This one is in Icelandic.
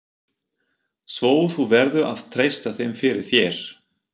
Svo þú verður að treysta þeim fyrir. þér.